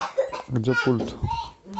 где пульт